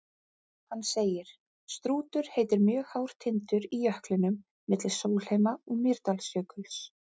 Hann segir: Strútur heitir mjög hár tindur í jöklinum milli Sólheima- og Mýrdalsjökuls.